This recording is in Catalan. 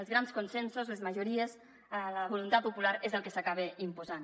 els grans consensos les majories la voluntat popular és el que s’acaba imposant